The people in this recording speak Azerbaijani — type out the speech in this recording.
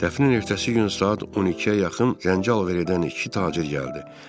Dəfnin ertəsi gün saat 12-yə yaxın zənci alver edən iki tacir gəldi.